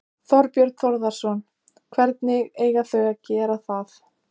Þorbjörn Þórðarson: Hvernig eiga þau að gera það?